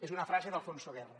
és una frase d’alfonso guerra